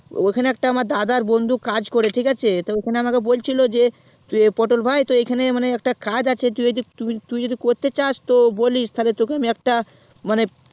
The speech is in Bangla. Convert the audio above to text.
ওখানে একটা আমার দাদার বন্ধু কাজ করে ঠিক আছে তো ওখানে আমাকে বলছিলো যে পটল ভাই তো মানে এখানে একটা কাজ আছে তুই যদি করতে চাস তাহলে তোকে আমি একটা মানে